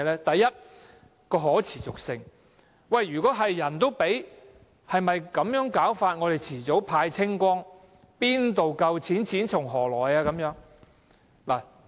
第一，可持續性；人人都有的話，資源遲早會耗盡，哪有足夠的金錢，錢從何來？